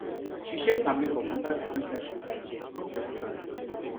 she check her makeup under different type of light for front of mirror